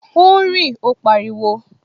O ń rí! Ó pariwo